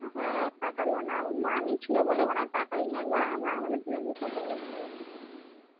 হ্যাঁ পাঠালে না ওর মামি ছিল বলে মনে হয় পাঠাইনি একবার আমরা আমাদের দুজনকে কথা বলতে হবে